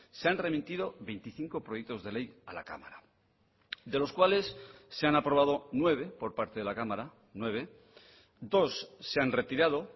se han remitido veinticinco proyectos de ley a la cámara de los cuales se han aprobado nueve por parte de la cámara nueve dos se han retirado